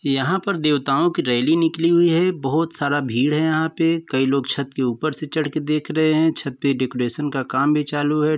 यहाँ पर देवताओं की रैली निकली हुई है। बहुत सारा भीड़ है यहाँ पे। कई लोग छत के ऊपर से चढ़ के देख रहे हैं। छत पे डेकोरेशन का काम भी चालू है।